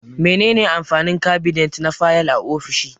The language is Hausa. Me ne ne amfanin kabinet na fayal a ofishi?